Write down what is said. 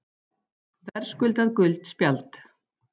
Verðskuldað gult spjald.